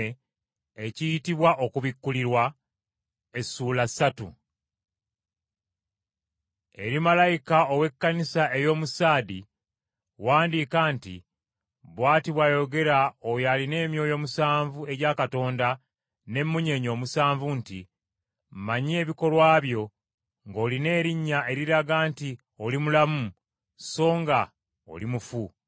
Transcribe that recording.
“Eri malayika ow’Ekkanisa ey’omu Saadi wandiika nti: Bw’ati bw’ayogera oyo alina emyoyo omusanvu egya Katonda n’emmunyeenye omusanvu nti, Mmanyi ebikolwa byo, ng’olina erinnya eriraga nti oli mulamu so nga oli mufu.